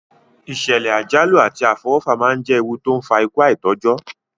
Ìsẹ̀lẹ̀ àjálù àti àfọwọ́fà náà je ewu to n fa ikú aitọ́jọ́